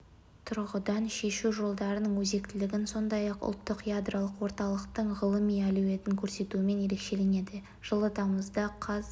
тұрғыдан шешу жолдарының өзектілігін сондай-ақ ұлттық ядролық орталықтың ғылыми әлеуетін көрсетуімен ерекшеленеді жылы тамызда қаз